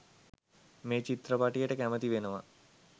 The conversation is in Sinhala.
මේ චිත්‍රපටියට කැමති වෙනවා.